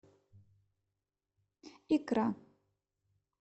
икра